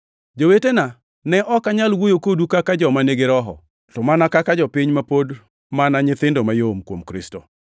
Jowetena, ne ok anyal wuoyo kodu kaka joma nigi Roho, to mana kaka jopiny ma pod mana nyithindo mayom kuom Kristo.